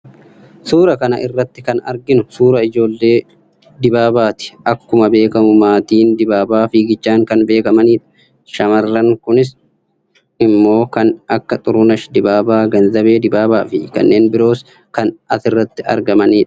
suuraa kan irratti kan arginu suuraa ijoollee dibaabaati. akkuma beekamu maatiin dibaabaa fiigichaan kan beekamanidha. shamarran kunis immoo kan akka xurunesh dibaabaa, ganzabee dibaabaa fi kanneen biroos kan asirratti argamani dha.